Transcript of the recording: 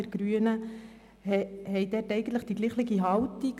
Wir Grünen haben hier eigentlich dieselbe Haltung.